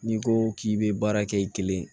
N'i ko k'i bɛ baara kɛ i kelen